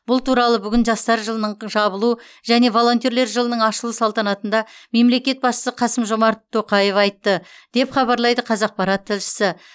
бұл туралы бүгін жастар жылының жабылу және волонтерлер жылының ашылу салтанатында мемлекет басшысы қасым жомарт тоқаев айтты деп хабарлайды қазақпарат тілшісі